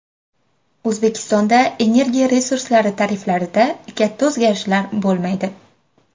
O‘zbekistonda energiya resurslari tariflarida katta o‘zgarishlar bo‘lmaydi.